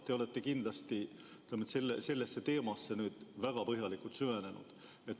Te olete kindlasti sellesse teemasse väga põhjalikult süvenenud.